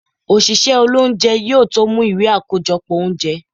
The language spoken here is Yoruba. osìsé ilé oúnjẹ, yóò tó mú ìwé akojọpọ oúnjẹ.